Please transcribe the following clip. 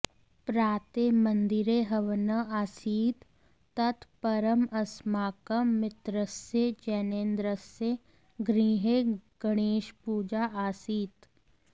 प्रातः मन्दिरे हवनः आसीत् तत् परम् अस्माकं मित्रस्य जैनेन्द्रस्य गृहे गणेशपूजा आसीत्